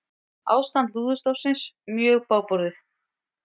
Ástand lúðustofnsins mjög bágborið